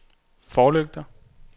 forlygter